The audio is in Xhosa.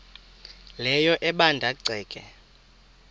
leyo ebanda ceke